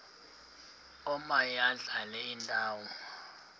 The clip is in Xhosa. omaye adlale indawo